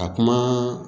Ka kuma